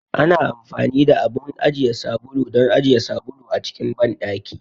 Ana amfani da abun ajiye sabulu don ajiye sabulu a cikin banɗaki.